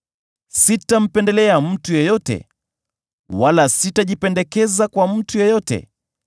Sitampendelea mtu yeyote, wala sitajipendekeza kwa mtu yeyote;